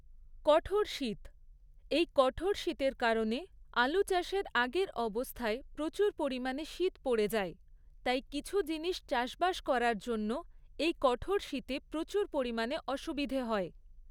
কঠোর শীত, এই কঠোর শীতের কারণে আলু চাষের আগের অবস্থায় প্রচুর পরিমাণে শীত পড়ে যায়, তাই কিছু জিনিস চাষবাস করার জন্য এই কঠোর শীতে প্রচুর পরিমাণে অসুবিধে হয়